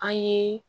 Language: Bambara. An ye